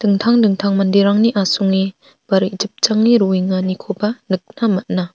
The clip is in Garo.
dingtang dingtang manderangni asonge ba re·jipjange roenganiko nikna man·a.